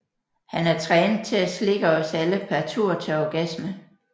Han er trænet til at slikke os alle per tur til orgasme